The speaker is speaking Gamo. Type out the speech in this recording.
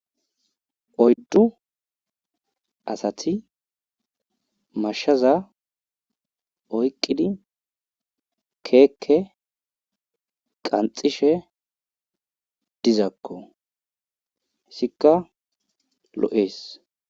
Oyddu assati mashaza oyqqidi keeke qanxxishe dizakko hessikka lo7ees.